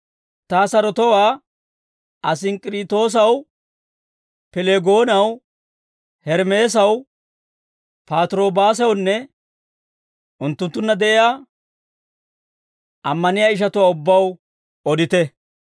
Ta sarotowaa Asinkkiriitoosaw, Pileegoonaw, Hermeesaw, Patirobaasawunne unttunttunna de'iyaa ammaniyaa ishatuwaa ubbaw odite.